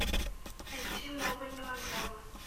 найти новые мелодрамы